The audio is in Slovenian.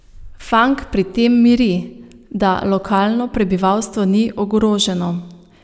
Fank pri tem miri, da lokalno prebivalstvo ni ogroženo.